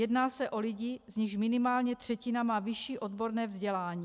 Jedná se o lidi, z nichž minimálně třetina má vyšší odborné vzdělání.